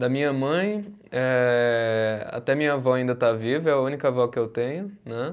Da minha mãe, eh até minha vó ainda está viva, é a única vó que eu tenho, né.